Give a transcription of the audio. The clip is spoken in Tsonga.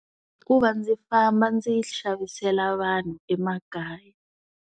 I ku va ndzi famba ndzi xavisela vanhu emakaya.